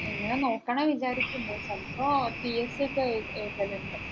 ഇങ്ങനെ നോക്കണന്ന് വിചാരിക്കുന്നു ചിലപ്പോ PSC ഒക്കെ എഴുതലുണ്ട്